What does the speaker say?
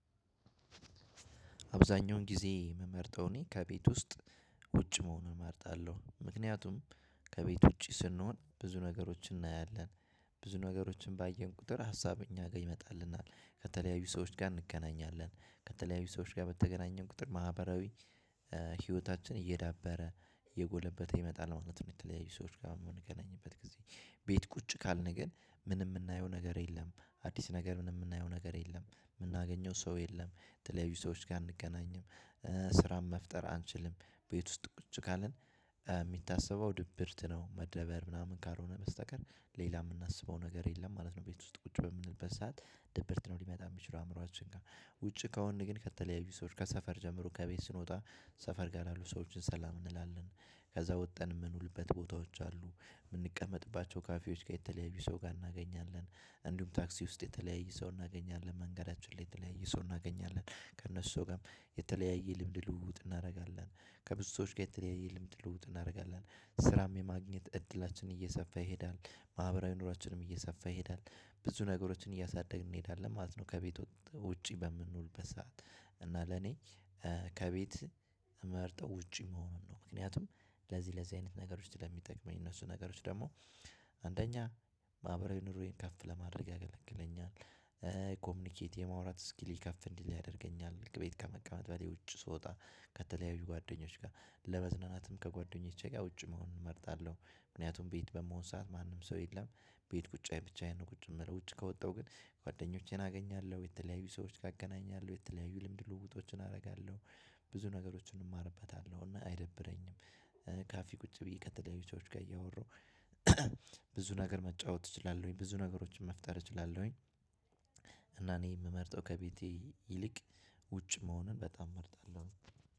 አብዛኛውን ጊዜ የምመርጠው እኔ ከቤት ውስጥ ውጭ መሆኑን እመርጣለሁ። ምክንያቱም ከቤት ውጪ ስንሆን ብዙ ነገሮችን እናያለን። ብዙ ነገሮችን ባየን ቁጥር ሀሳብ እኛ ጋር ይመጣልናል ከተለያዩ ሰዎች ጋር እንገናኛለን ከተለያዩ ሰዎች ጋር በተገናኘን ቁጥር ማህበራዊ ህይወታችን እየዳበረ እየጎለበተ ይመጣል ማለት ነው። የተለያዩ ሰዎች ጋር የምንገናኝበት ጊዜ ቤት ቁጭ ካልን ግን ምንም የምናየው ነገር የለም አዲስ ነገር ምንም የምናየው ነገር የለም የምናገኘው ሰው የለም የተለያዩ ሰዎች ጋር እንገናኝም። ስራም መፍጠር አንችልም ቤት ውስጥ ቁጭ ካልን የሚታሰበው ድብርት ነው መደበር ምናምን ካልሆነ በስተቀር ሌላ የምናስበው ነገር የለም ማለት ነው። ቤት ውስጥ ቁጭ በምንልበት ሰዓት ደብርት ነው ሊመጣ የሚችለው አእምሮአችን ጋር ውጪ ከሆነን ግን ከተለያዩ ሰዎች ከሰፈር ጀምሮ ከቤት ስንወጣ ሰፈር ጋር ያሉ ሰዎችን ሰላም እንላለን። ከዛ ወጥን የምንውልበት ቦታዎች አሉ የምንቀመጥበት ካፌዎች ጋር የተለያዩ ሰዎች እናገኛለን እንዲሁም ታክሲ ውስጥ የተለያየ ሰው እናገኛለን መንገዳችን ላይ የተለያየ ሰው እናገኛለን ከእነሱ ጋር የተለያየ ልምድ ልውውጥ እናደርጋለን። ከብዙ ሰዎች ጋር የተለያየ ልምድ ልውውጥ እናደርጋለን ስራም የማግኘት እድላችንን እየሰፋ ይሄዳል ማህበራዊ ኑሮአችንም እየሰፋ ይሄዳል ብዙ ነገሮችን እያሳደግን እንሄዳለን ማለት ነው። ከቤት ወጥቶ ውጪ በምንውል በሰአት እና ለኔ ከቤት መርጠው ውጪ መሆኑን ነው ምክንያቱም ለዚህ ለዚህ አይነት ነገሮች ስለሚጠቅመኝ እነሱ ነገሮች ደግሞ አንደኛ ማህበራዊ ኑሮዬን ከፍ ለማድረግ ያገለግለኛል። ኮሚኒኬት የመዋራት ስኪል ከፍ እንዲል ያደርገኛል ቤት ከመቀመጥ በሌላ ውጭ ስወጣ ከተለያዩ ጓደኞች ጋር ለመዝናናትም ከጓደኞቼ ጋር ውጭ መሆን እመርጣለሁ። ምክንያቱም ቤት በመሆን ሰዓት ማንም ሰው የለም ቤት ቁጫዬ ብቻዬን ነው ቁጭ የምልው ውጭ ከወጣሁ ግን ጓደኞቼን አገኛለሁ የተለያዩ ሰዎች ጋ እገናኛለሁ የተለያዩ ልምድ ልውውጦችን አደርጋለሁ ብዙ ነገሮችን እማርበታለሁ እና አይደብረኝም። ካፌ ቁጭ ብዬ ከተለያዩ ሰዎች ጋር እያወራሁ ብዙ ነገር መጫወት እችላለሁኝ ብዙ ነገሮችን መፍጠር እችላለሁኝ። እና እኔ የምመርጠው ከቤቴ ይልቅ ውጭ መሆኑን በጣም እመርጣለሁ።